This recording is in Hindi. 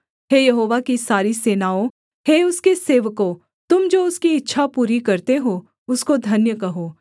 हे यहोवा की सारी सेनाओं हे उसके सेवकों तुम जो उसकी इच्छा पूरी करते हो उसको धन्य कहो